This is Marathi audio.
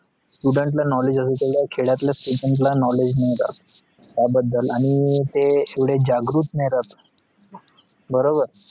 student ला knowledge आहे तेवढा खेड्यातल्या students ला knowledge नाही राहत त्या बदल आणी ते एवढा जागृत नाही राहत बरोबर